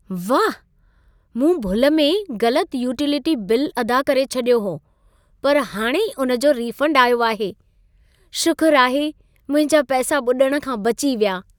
वाह! मूं भुल में ग़लत यूटिलिटी बिल अदा करे छॾियो हो। पर हाणे ई उन जो रीफंड आयो आहे। शुकुर आहे मुंहिंजा पैसा ॿुॾण खां बची विया।